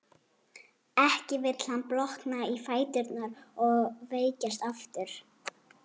Ekki vill hann blotna í fæturna og veikjast aftur.